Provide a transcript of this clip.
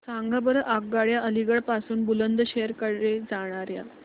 सांगा बरं आगगाड्या अलिगढ पासून बुलंदशहर कडे जाणाऱ्या